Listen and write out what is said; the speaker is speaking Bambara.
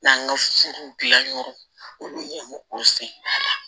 N'an ka serew gilan yɔrɔ o ye o sen ala